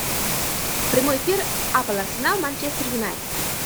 прямой эфир апл арсенал манчестер юнайтед